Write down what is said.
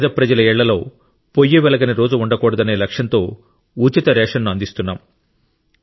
పెద ప్రజల ఇళ్ళలో పొయ్యి వెలగని రోజు ఉండకూడనే లక్ష్యంతో ఉచిత రేషన్ ను అందిస్తున్నాం